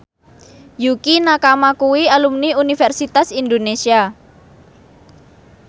Yukie Nakama kuwi alumni Universitas Indonesia